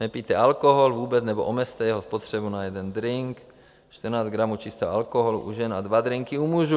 Nepijte alkohol vůbec nebo omezte jeho spotřebu na jeden drink - 14 gramů čistého alkoholu - u žen a dva drinky u mužů.